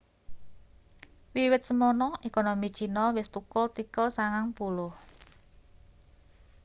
wiwit semana ekonomi cina wis thukul tikel 90